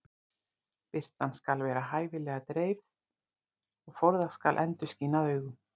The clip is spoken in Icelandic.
Birtan skal vera hæfilega dreifð og forðast skal endurskin að augum.